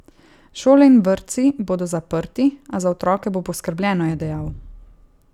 Šole in vrtci bodo zaprti, a za otroke bo poskrbljeno, je dejal.